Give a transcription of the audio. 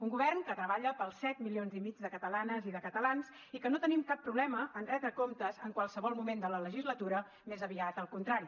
un govern que treballa per als set milions i mig de catalanes i de catalans i que no tenim cap problema en retre comptes en qualsevol moment de la legislatura més aviat al contrari